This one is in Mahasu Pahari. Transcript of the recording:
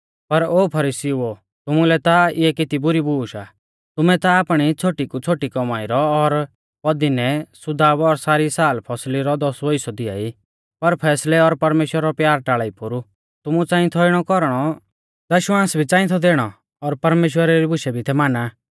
पर ओ फरीसीउओ तुमुलै ता इऐ केती बुरी बूश आ तुमै ता आपणी छ़ोटी कु छ़ोटी कौमाई रौ और पदीनै सुदाब और सारी सालफसली रौ दसवौ हिस्सौ दिआई पर फैसलै और परमेश्‍वरा रौ प्यार टाल़ा ई पोरु तुमु च़ांई थौ इणौ कौरणौ दश्वांस भी च़ांई थौ दैणौ और परमेश्‍वरा री बुशै भी थै माना